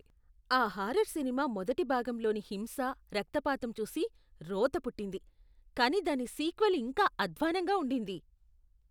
ఆ horror cinema మొదటి భాగంలోని హింస, రక్తపాతం చూసి రోత పుట్టింది, కానీ దాని సీక్వెల్ ఇంకా అధ్వాన్నంగా ఉండింది.